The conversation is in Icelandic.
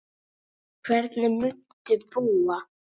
Hvernig muntu búa?